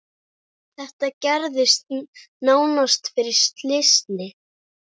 Þetta gerðist nánast fyrir slysni.